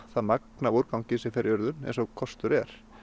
það magn af úrgangi sem fer í urðun eins og kostur er